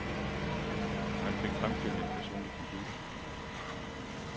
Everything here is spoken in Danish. Man fik fremstillet en personlig computer.